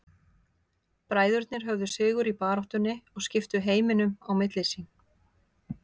Bræðurnir höfðu sigur í baráttunni og skiptu heiminum á milli sín.